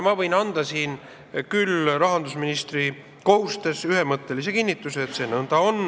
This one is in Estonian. Ma võin siin rahandusministri kohustusi täites anda ühemõttelise kinnituse, et see on nõnda.